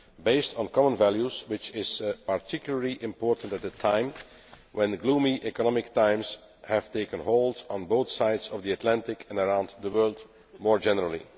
based on common values, which is particularly important at a time when gloomy economic times have taken hold on both sides of the Atlantic and around the world more generally.